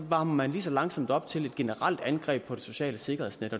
varmer man lige så langsomt op til et generelt angreb på det sociale sikkerhedsnet